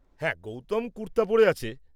হ্যাঁ, গৌতম কুর্তা পরে আছে।